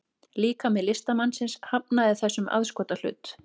Líkami listamannsins hafnaði þessum aðskotahlut